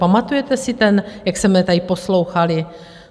Pamatujete si ten - jak jsme tady poslouchali?